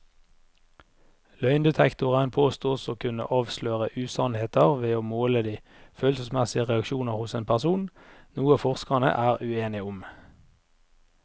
Løgndetektoren påstås å kunne avsløre usannheter ved å måle de følelsesmessige reaksjoner hos en person, noe forskerne er uenige om.